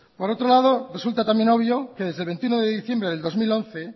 por otro lado resulta también obvio que desde el veintiuno de diciembre del dos mil once